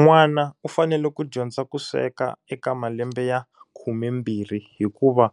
N'wana u fanele ku dyondza ku sweka eka malembe ya khumembirhi hikuva,